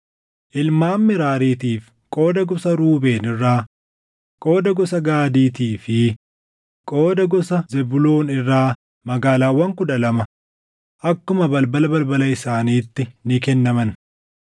Ilmaan Meraariitiif qooda gosa Ruubeen irraa, qooda gosa Gaadiitii fi qooda gosa Zebuuloon irraa magaalaawwan kudha lama akkuma balbala balbala isaaniitti ni kennaman.